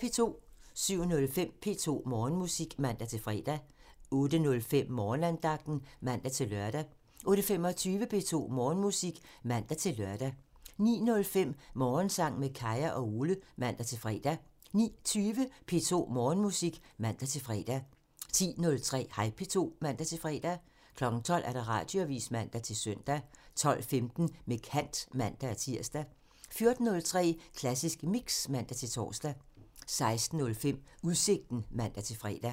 07:05: P2 Morgenmusik (man-fre) 08:05: Morgenandagten (man-lør) 08:25: P2 Morgenmusik (man-lør) 09:05: Morgensang med Kaya og Ole (man-fre) 09:20: P2 Morgenmusik (man-fre) 10:03: Hej P2 (man-fre) 12:00: Radioavisen (man-søn) 12:15: Med kant (man-tir) 14:03: Klassisk Mix (man-tor) 16:05: Udsigten (man-fre)